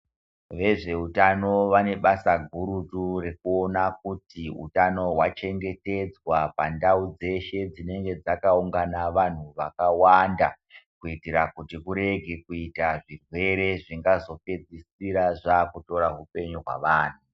Vezvehutano vane basa gurutu rekuona kuti hutano hwachengetedzwa pandau dzeshe dzinenge dzakaungana vantu vakawanda. Kuitira kuti kurege kuita zvirwere zvingazopedzisira zvakutora hupenyu hwevantu.